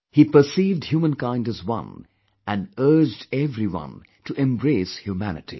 He perceived humankind as one & urged everyone to embrace humanity